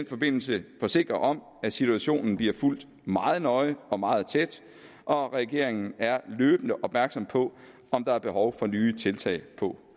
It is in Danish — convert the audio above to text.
forbindelse forsikre om at situationen bliver fulgt meget nøje og meget tæt og regeringen er løbende opmærksom på om der er behov for nye tiltag på